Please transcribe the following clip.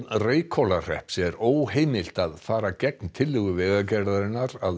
Reykhólahrepps er óheimilt að fara gegn tillögu Vegagerðarinnar að